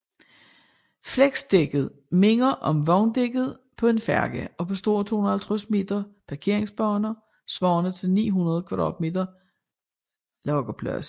Flexdækket minder om vogndækket på en færge og består af 250 meter parkeringsbaner svarende til 900m² lagerplads